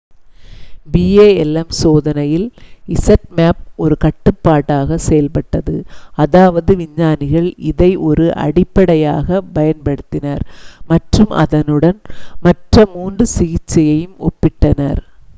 palm சோதனையில் zmapp ஒரு கட்டுப்பாடாகச் செயல்பட்டது அதாவது விஞ்ஞானிகள் இதை ஒரு அடிப்படையாகப் பயன்படுத்தினர் மற்றும் அதனுடன் மற்ற மூன்று சிகிச்சையையும் ஒப்பிட்டனர்